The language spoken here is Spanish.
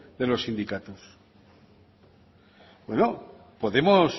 de los sindicatos bueno podemos